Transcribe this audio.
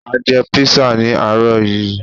À jẹ písà ní àárọ̀ yií